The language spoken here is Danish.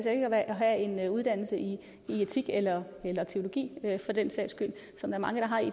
have en uddannelse i etik eller teologi for den sags skyld som mange har i